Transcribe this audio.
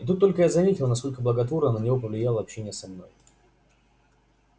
и тут только я заметила насколько благотворно на него повлияло общение со мной